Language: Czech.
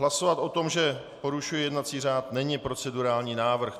Hlasovat o tom, že porušuji jednací řád, není procedurální návrh.